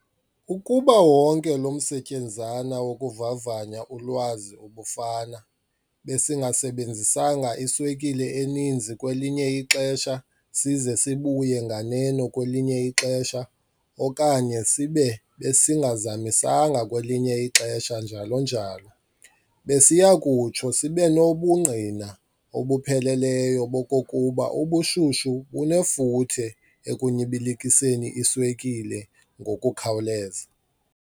Ukuba wonke lo msetyenzana wokuvavanya ulwazi ubufana besingasebenzisanga iswekile eninzi kwelinye ixesha size sibuye nganeno kwelinye ixesha, okanye sibe besingazamisanga kwelinye ixesha njalo, njalo., besiyakutsho sibenobungqina obupheleleyo bokokuba ubushushu bunefuthe ekunyibilikiseni iswekile ngokukhawuleza.